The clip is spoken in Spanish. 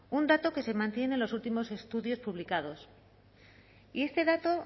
un dato que se mantiene en los últimos estudios publicados y este dato